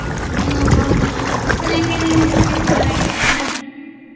ಆಹ್ ಹೌದಾ ಬಿಸಿಲು ಹೆಂಗೆರೆ ನಿಮ್ಮ ಕಡೆ ಜೋರ ಆಗಿದೇನಾ?